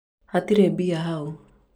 hatire mbia hau